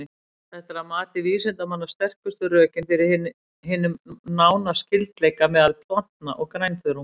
Þetta er að mati vísindamanna sterkustu rökin fyrir hinum nána skyldleika meðal plantna og grænþörunga.